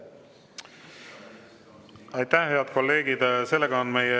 Aitäh, head kolleegid!